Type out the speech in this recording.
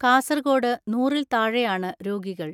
കാസർകോട് നൂറിൽ താഴെയാണ് രോഗികൾ.